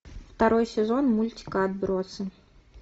второй сезон мультика отбросы